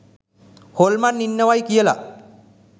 හොල්මන් ඉන්නවයි කියලා